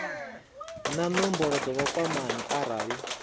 na nomboro dza vhukwamani arali